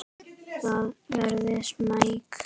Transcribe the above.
Ég verð smeyk.